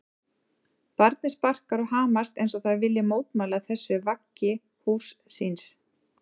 Barnið sparkar og hamast eins og það vilji mótmæla þessu vaggi húss síns.